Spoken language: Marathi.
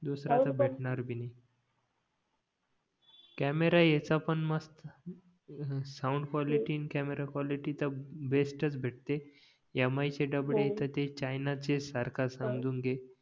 दुसरा कुठे भेटणार भी नाही कॅमेरा ह्याचा पण मस्त साऊंड क्वालिटी आणि अकॅमेरा क्वालिटी तर बेस्टच भेटते यमाई चे डबडे तर ते चायना चे सारखा समजून घे